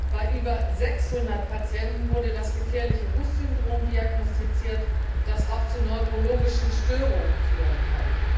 Bei über 600 Patienten wurde das gefährliche HUS Syndrom diagnostiziert, das auch zu neurologischen Störungen führen kann.